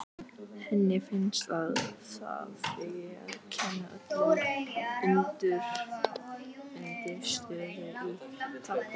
Henni finnst að það eigi að kenna öllum undirstöðu í táknmáli.